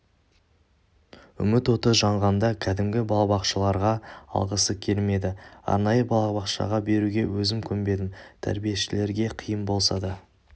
үміт оты жанғанда кәдімгі балабақшаларға алғысы келмеді арнайы балабақшаға беруге өзім көнбедім тәрбиешілерге қиын болса да